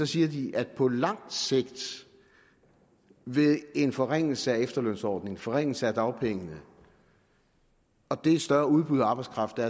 siger at på lang sigt vil en forringelse af efterlønsordningen forringelse af dagpengene og det større udbud af arbejdskraft der